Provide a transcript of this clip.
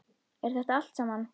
Er þetta allt saman satt?